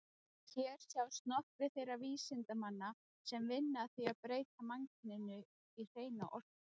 Hér sjást nokkrir þeirra vísindamanna sem vinna að því að breyta mannkyninu í hreina orku.